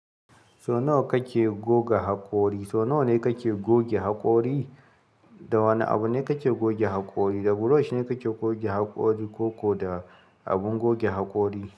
So nawa kake goga haƙori? So nawa ne kake goge haƙori? Da wane abu ne kake goge haƙori? Da brush ne kake goge haƙori ko ko da abun goge haƙori?